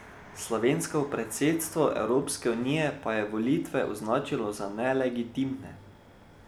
Slovensko predsedstvo Evropske unije pa je volitve označilo za nelegitimne.